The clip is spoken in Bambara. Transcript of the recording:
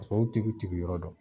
K'a sɔrɔ u tigiw t'i k'u yɔrɔ dɔn